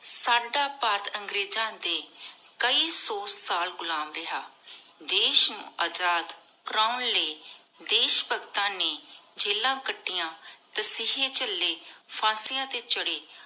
ਸਦਾ ਭਾਰਤ ਅੰਗ੍ਰੇਜ਼ਾਂ ਦੇ ਕਾਯੀ ਸੋ ਸਾਲ ਘੁਲਮ ਰਿਹਾ ਦੇਸ਼ ਅਜਾਦ ਕਰਨ ਲਾਏ ਦੇਸ਼ ਭਗਤਾਂ ਨੀ ਜਿਲਾਨ ਕਾਤਿਯਾਂ ਤਸੀਹੇ ਚਲੀ ਫਾਂਸਿਯਾਂ ਟੀ ਚਾਰੇ